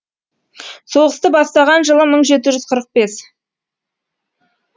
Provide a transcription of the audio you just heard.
соғысты бастаған жылы мың жеті жүз қырық бес